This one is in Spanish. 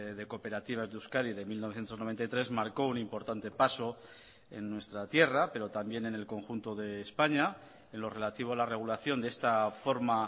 de cooperativas de euskadi de mil novecientos noventa y tres marcó un importante paso en nuestra tierra pero también en el conjunto de españa en lo relativo a la regulación de esta forma